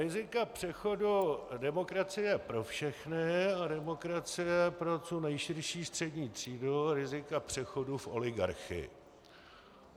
Rizika přechodu demokracie pro všechny a demokracie pro co nejširší střední třídu, rizika přechodu v oligarchii.